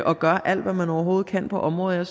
og gør alt hvad man overhovedet kan på området